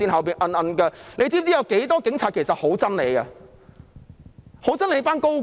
她知否有很多警察其實很憎恨她及一眾高官？